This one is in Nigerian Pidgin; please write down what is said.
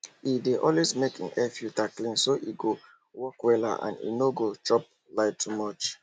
he dey always make him airfilter clean so e go work wella and e no go chop light too much